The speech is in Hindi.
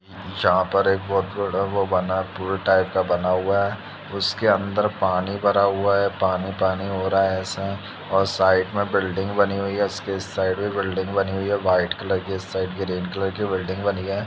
यहाँ पर एक बहुत बड़ा वो बना है पूल टाइप का बना हुआ है| उसके अंदर पानी भरा हुआ है पानी-पानी हो रहा है ऐसा और साइड में बिल्डिंग बनी हुई है| उसके साइड में बिल्डिंग बनी हुई है वाइट कलर की इस साइड ग्रीन कलर की बिल्डिंग बनी है।